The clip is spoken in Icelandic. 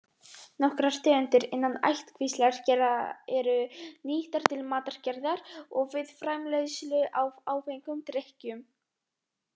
Nokkrar tegundir innan ættkvíslar gera eru nýttar til matargerðar og við framleiðslu á áfengum drykkjum.